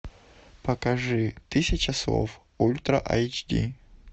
покажи тысяча слов ультра айч ди